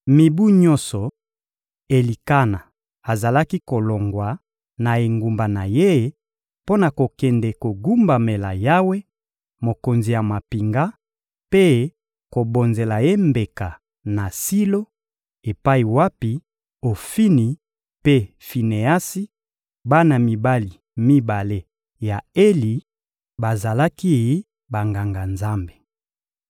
Mibu nyonso, Elikana azalaki kolongwa na engumba na ye mpo na kokende kogumbamela Yawe, Mokonzi ya mampinga, mpe kobonzela Ye mbeka na Silo epai wapi Ofini mpe Fineasi, bana mibali mibale ya Eli, bazalaki Banganga-Nzambe.